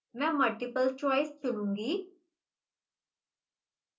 मैं multiple choice चुनूंगी